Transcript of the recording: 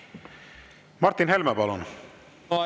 Martin Helme, palun!